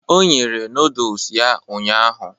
O nyere nodles ya ụnyahụ.